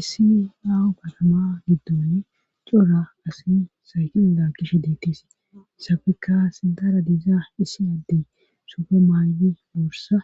Issi yawu batama giddoni cora asi saykin lakishe deitisi isafekka sidaara diizaa isiyaddey sufe maaywi bursa